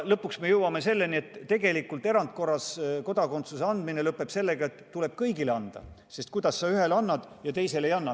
Lõpuks me jõuame selleni, et erandkorras kodakondsus tuleb anda kõigile, sest kuidas sa ühele annad ja teisele ei anna.